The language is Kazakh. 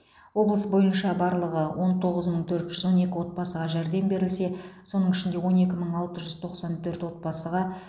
облыс бойынша барлығы он тоғыз мың төрт жүз он екі отбасыға жәрдем берілсе соның ішінде он екі мың алты жүз тоқсан төрт отбасыға